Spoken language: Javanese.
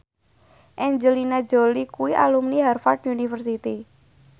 Angelina Jolie kuwi alumni Harvard university